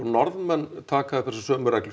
Norðmenn taka upp þessa sömu reglu